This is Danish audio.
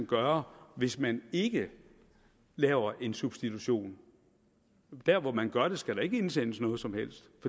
gøre hvis man ikke laver en substitution der hvor man gør det skal der ikke indsendes noget som helst